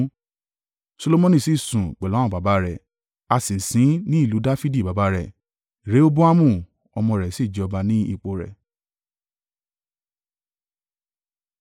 Solomoni sì sùn pẹ̀lú àwọn baba rẹ̀, a sì sin ín ní ìlú Dafidi baba rẹ̀, Rehoboamu, ọmọ rẹ̀ sì jẹ ọba ní ipò rẹ̀.